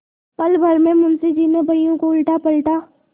पलभर में मुंशी जी ने बहियों को उलटापलटा